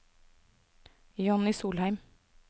Johnny Solheim